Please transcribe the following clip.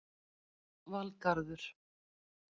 Valgarður